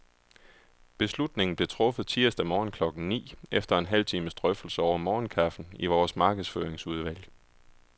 Beslutningen blev truffet tirsdag morgen klokken ni, efter en halv times drøftelse over morgenkaffen i vores markedsføringsudvalg.